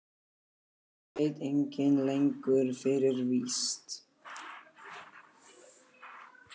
Það veit enginn lengur fyrir víst.